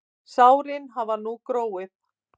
Sárin hafa nú þegar gróið.